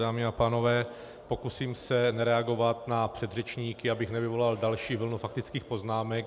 Dámy a pánové, pokusím se reagovat na předřečníky, abych nevyvolal další vlnu faktických poznámek.